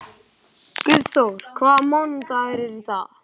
Guðþór, hvaða mánaðardagur er í dag?